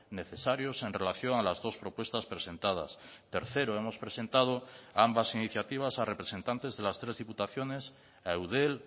necesarios en relación a las dos propuestas presentadas tercero hemos presentado ambas iniciativas a representantes de las tres diputaciones a eudel